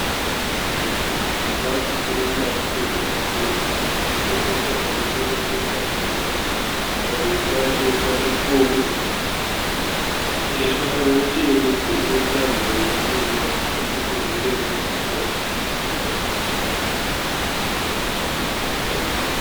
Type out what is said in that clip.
Chikafu chiri mumapepa matema chakaiswa pamusoro petafura. Padivi pacho pane foni yeruvara rutema ine tambo inoenda nechekuseri kwetafura iyi.